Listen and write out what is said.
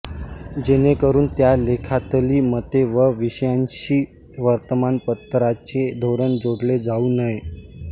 जेणेकरून त्या लेखातली मते व विषयांशी वर्तमानपत्राचे धोरण जोडले जाऊ नये